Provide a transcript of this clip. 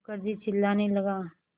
मुखर्जी चिल्लाने लगा